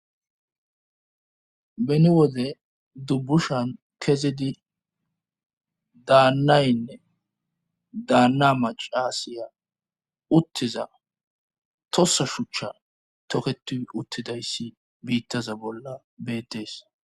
beni wode dubbushan kezidi daannaynne daanna macaasiya uttiza tossa shuchcha toketi uttidayssi biittaza bolla betees